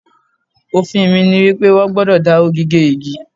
Òfin mi ni wípé, wón gbúdọ̀ dáwọ́ gígé igi.